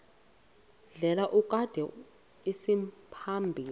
ndlela kudaleka isimaphambili